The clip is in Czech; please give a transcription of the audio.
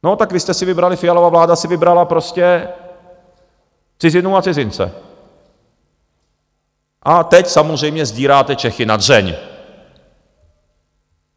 No, tak vy jste si vybrali, Fialova vláda si vybrala, prostě cizinu a cizince, a teď samozřejmě sdíráte Čechy na dřeň.